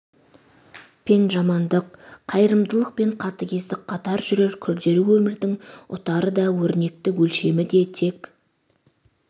пен жамандық қайырымдылық пен қатыгездік қатар жүрер күрделі өмірдің ұтары да өрнекті өлшемі де тек